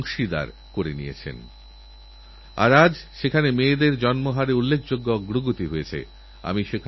জীবন এখন এতপ্রাণচঞ্চল এত এর মধ্যে দৌড়ঝাঁপ রয়েছে তাই কখনো কখনো নিজের জন্য চিন্তা করার অবকাশহয় না